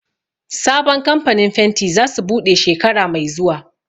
Sabon kamfanin fenti za su buɗe shekara mai zuwa